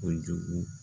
Kojugu